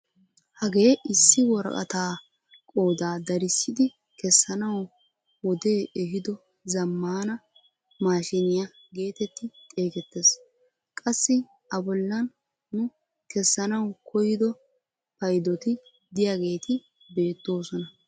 hagee issi woraqataa qoodaa darissidi kessanawu wodee eehido zammaana mashiniyaa getetti xeegettees. qassi a bollaan nu kessanawu koyido paydoti de'iyaageti beettoosona.